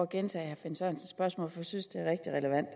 gentage herre finn sørensens spørgsmål for jeg synes det er rigtig relevant